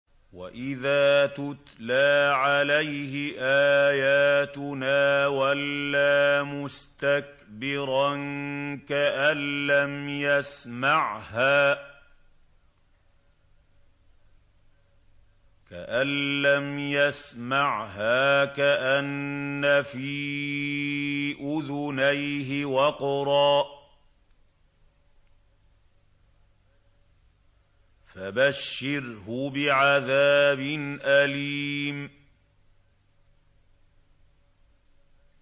وَإِذَا تُتْلَىٰ عَلَيْهِ آيَاتُنَا وَلَّىٰ مُسْتَكْبِرًا كَأَن لَّمْ يَسْمَعْهَا كَأَنَّ فِي أُذُنَيْهِ وَقْرًا ۖ فَبَشِّرْهُ بِعَذَابٍ أَلِيمٍ